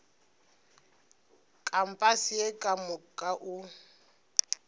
kampase ye ka moka o